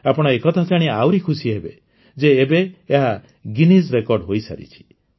ଆପଣ ଏକଥା ଜାଣି ଆହୁରି ଖୁସି ହେବେ ଯେ ଏବେ ଏହା ଗିନିଜ୍ ରେକର୍ଡ଼ ହୋଇସାରିଛି